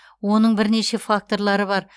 оның бірнеше факторлары бар